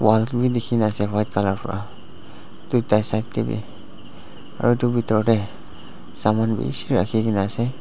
white colour pra tuita side tey bi aro edu bitor tey saman bishi rakhikena ase.